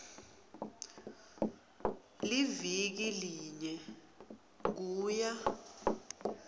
liviki linye kuya